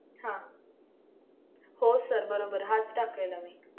हम्म हो sir बरोबर. हाच टाकायला मी.